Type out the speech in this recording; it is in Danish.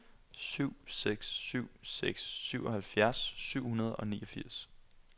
syv seks syv seks syvoghalvfjerds syv hundrede og niogfirs